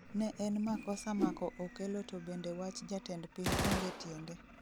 ne en makosa mako okello to bende wach jatend piny onge tiende